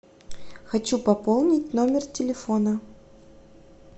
хочу пополнить номер телефона